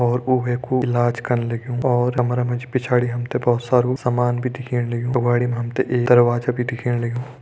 और उ वै कु इलाज कन लग्युं और कमरा मा जी पिछाड़ी हम ते बहोत सारु सामान भी दिखेण लग्युं अगवाड़ी मा हम ते एक दरवाजा भी दिखेण लग्युं।